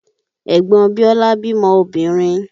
Ẹ̀gbọn Biọ́lá bímọ obìnrin